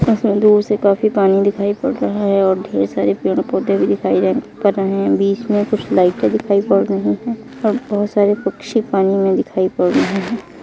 दूर से काफी पानी दिखाई पड़ रहा हैं और ढेर सारे पेड़-पौधे भी दिखाई दे पड़ रहे हैं बीच मे कुछ लाइटे भी दिखाई पड़ रही हैं और बहुत सारे पक्छी पानी मे दिखाई पड़ रहे हैं।